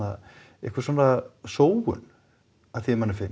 einhver svona sóun að því er manni finnst